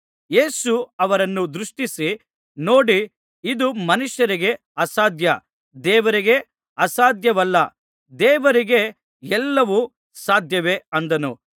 ಯೇಸು ಅವರನ್ನು ದೃಷ್ಟಿಸಿ ನೋಡಿ ಇದು ಮನುಷ್ಯರಿಗೆ ಅಸಾಧ್ಯ ದೇವರಿಗೆ ಅಸಾಧ್ಯವಲ್ಲ ದೇವರಿಗೆ ಎಲ್ಲವೂ ಸಾಧ್ಯವೇ ಅಂದನು